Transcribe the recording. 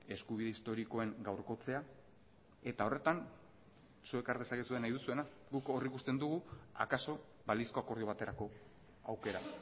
eskubide historikoen gaurkotzea eta horretan zuek har dezakezue nahi duzuena guk hor ikusten dugu akaso balizko akordio baterako aukera